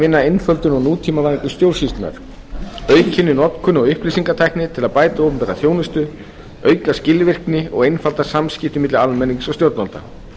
vinna að einföldun og nútímavæðingu stjórnsýslunnar aukinni notkun á upplýsingatækni til að bæta opinbera þjónustu auka skilvirkni og einfalda samskipti milli almennings og stjórnvalda